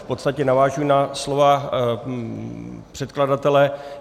V podstatě navážu na slova předkladatele.